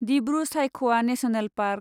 Dibru Saikhowa national park